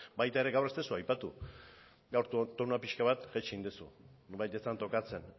baita ere gaur ez duzu aipatu gaurko tonua pixka bat jaitsi egin duzu nonbait ez zen tokatzen